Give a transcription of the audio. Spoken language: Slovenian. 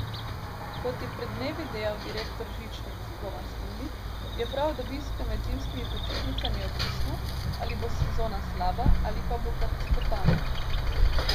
Kot je pred dnevi dejal direktor žičnic Roman Slivnik, je prav od obiska med zimskimi počitnicami odvisno, ali bo sezona slaba ali pa bo katastrofalna.